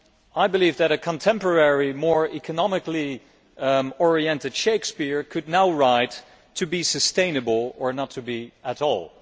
I believe that a contemporary and more economically oriented Shakespeare could now write to be sustainable or not to be at all'.